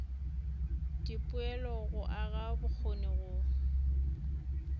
dipoelo go aga bokgoni go